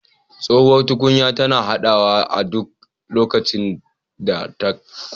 Tsohuwar tukunya tana haɗawa a duk lokacin da ta ƙone